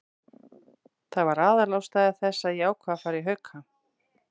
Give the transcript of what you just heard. Það var aðalástæða þess að ég ákvað að fara í Hauka.